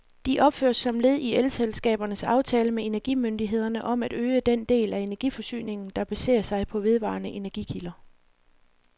De opføres som led i elselskabernes aftale med energimyndighederne om at øge den del af energiforsyningen, der baserer sig på vedvarende energikilder.